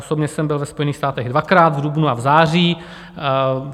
Osobně jsem byl ve Spojených státech dvakrát, v dubnu a v září.